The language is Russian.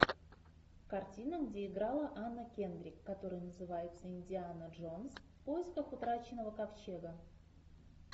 картина где играла анна кендрик которая называется индиана джонс в поисках утраченного ковчега